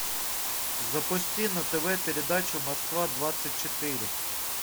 запусти на тв передачу москва двадцать четыре